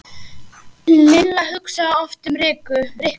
Lilla hugsaði oft um Rikku.